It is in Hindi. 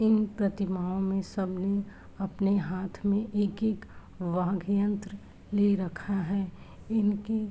इन्ह प्रतिमाओं सब ने अपने हाथ में एक-एक वाघ यंत्र ले रखा है। इनकी --